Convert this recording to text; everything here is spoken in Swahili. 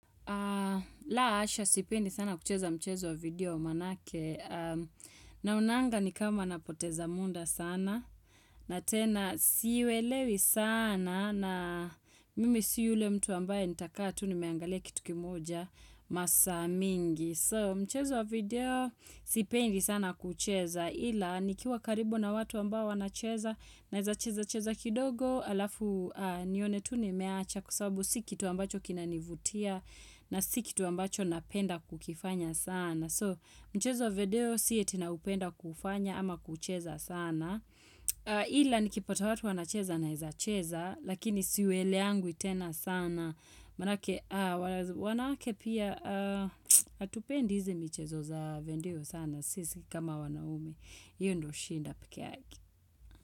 La hasha sipendi sana kucheza mchezo wa video manake naonanga ni kama napoteza muda sana na tena si uelewi sana na mimi si ule mtu ambaye nitakaa tu nimeangalia kitu kimoja masaa mingi. So mchezo video si pendi sana kucheza ila nikiwa karibu na watu ambao wanacheza naeza cheza cheza kidogo alafu nione tu nimeacha kwa sababu si kitu ambacho kinanivutia na si kitu ambacho napenda kukifanya sana. So, mchezo wa video si aty naupenda kufanya ama kucheza sana. Ila nikipata watu wanacheza naeza cheza, lakini si uelewangi tena sana. Manake, wanawake pia, hatupendi hizi michezo za video sana. Sisi si kama wanaume. Hiyo ndio shida pekee yake.